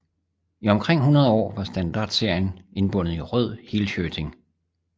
I omkring hundrede år var standardserien indbundet i rød helshirting